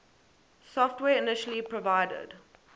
software initially provided